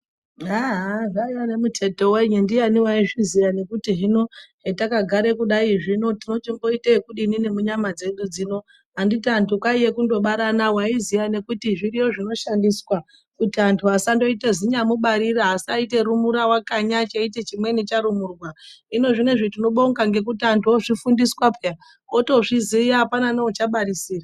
Haaa aaa zvaiya nemuthetho wenyi, ndiani waizviziya kuti hino hetakagere kudaizvi zvino tinochimboite ekudini neminyama dzedu dzino anditi anthu kwaiye kundobarana waiziya nekuti zviriyo zvinoshandiswa kuti antu asandoita zinyamubarira asaita rumura wakanya cheiti chimweni charumurwa. Hino zvinezvi tinobonga ngekuti antu ozvifundiswa pheya otozviziya apna neuchabarisira.